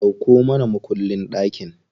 Dauko mana mukullin ɗakin.